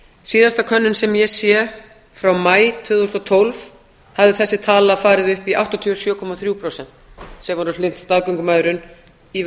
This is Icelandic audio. síðasta könnun sem ég sé frá maí tvö þúsund og tólf hafði þessi tala farið upp í áttatíu og sjö komma þrjú prósent sem voru hlynnt staðgöngumæðrun í